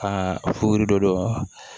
Aa funu don dɔ